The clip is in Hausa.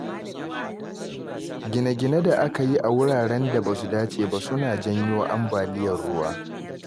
Gine-ginen da aka yi a wuraren da ba su dace ba suna janyo ambaliyar ruwa.